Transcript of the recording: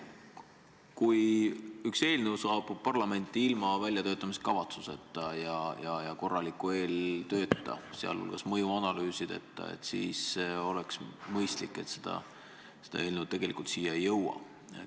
Kui üks eelnõu saabub parlamenti ilma väljatöötamiskavatsuseta ja korraliku eeltööta, sh mõjuanalüüsideta, siis oleks mõistlik, et see eelnõu tegelikult siia ei jõuaks.